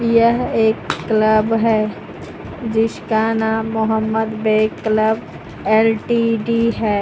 यह एक क्लब है जिसका नाम मोहम्मद बे क्लब एल_टी_डी है।